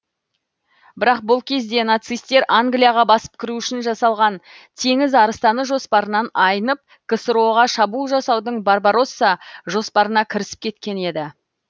бірақ бұл кезде нацистер англияға басып кіру үшін жасалған теңіз арыстаны жоспарынан айнып ксро ға шабуыл жасаудың барбаросса жоспарына кірісіп кеткен еді